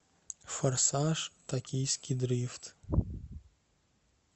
форсаж токийский дрифт